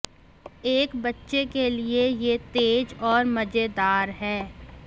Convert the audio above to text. एक बच्चे के लिए यह तेज और मजेदार है